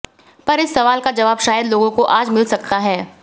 पर इस सवाल का जवाब शायद लोगों को आज मिल सकता है